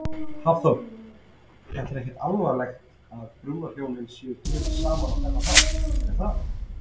Hafþór: Þetta er ekki alvanalegt að brúðhjón eru gefin saman á þennan hátt, er það?